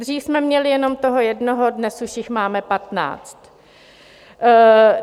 Dřív jsme měli jenom toho jednoho, dnes už jich máme patnáct.